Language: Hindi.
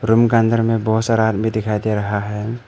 रूम के अंदर में बहुत सारा आदमी दिखाई दे रहा है।